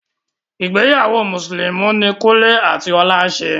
Ìgbéyàwó mùsùlùmí ní Kúnle àti Ọlá ṣe.